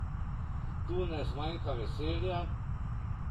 Tu ne zmanjka veselja!